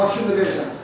Maşını da verirəm.